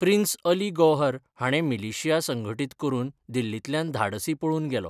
Prince Ali Gauhar हाणें militia संघटीत करून दिल्लींतल्यान धाडसी पळून गेलो.